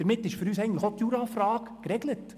Damit ist für uns auch die Jura-Frage geregelt.